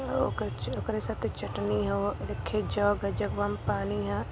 ओ गच ओकरा साथे चटनी ह देखी जग ह जगवा में पानी ह।